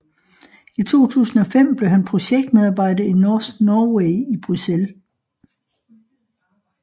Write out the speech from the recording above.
I 2005 blev han projektmedarbejder i NorthNorway i Bruxelles